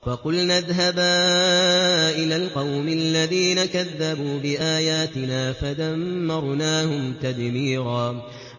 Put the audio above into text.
فَقُلْنَا اذْهَبَا إِلَى الْقَوْمِ الَّذِينَ كَذَّبُوا بِآيَاتِنَا فَدَمَّرْنَاهُمْ تَدْمِيرًا